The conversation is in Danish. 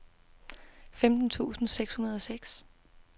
femten tusind seks hundrede og seks